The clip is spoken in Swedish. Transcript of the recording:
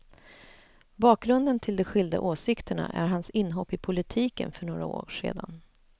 Bakgrunden till de skilda åsikterna är hans inhopp i politiken för några år sedan.